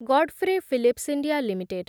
god ଫ୍ରେ Phillips India limited